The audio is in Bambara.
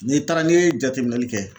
N'i taara n'i ye jateminɛli kɛ